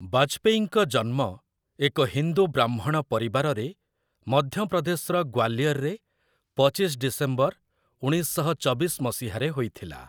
ବାଜପେୟୀଙ୍କ ଜନ୍ମ ଏକ ହିନ୍ଦୁ ବ୍ରାହ୍ମଣ ପରିବାରରେ ମଧ୍ୟପ୍ରଦେଶର ଗ୍ୱାଲିୟରରେ, ପଚିଶ ଡିସେମ୍ବର, ଉଣେଇଶ ଶହ ଚବିଶ ମସିହାରେ ହୋଇଥିଲା ।